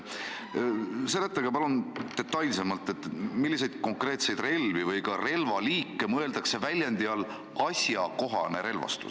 Seletage palun detailsemalt, et milliseid konkreetseid relvi või ka relvaliike mõeldakse väljendi all "asjakohane relvastus".